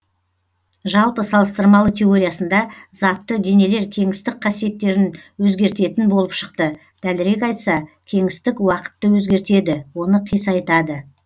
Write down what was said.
жалпы салыстырмалы теориясында затты денелер кеңістік қасиеттерін өзгертетін болып шықты дәлірек айтса кеңістік уақытты өзгертеді оны қисайтады